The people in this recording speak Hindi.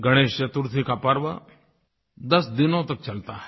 गणेश चतुर्थी का पर्व 10 दिनों तक चलता है